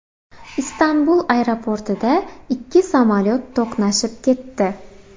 Istanbul aeroportida ikki samolyot to‘qnashib ketdi.